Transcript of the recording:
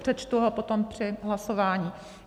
Přečtu ho potom při hlasování.